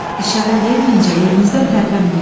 İşarə verməyincə yerinizdən tərpənməyin.